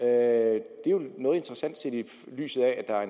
er jo noget interessant set i lyset af at der er